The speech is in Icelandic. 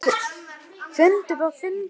Fundur og fundur.